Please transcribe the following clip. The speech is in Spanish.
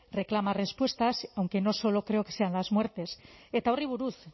reclama respuestas aunque no solo creo que sean las muertes eta horri buruz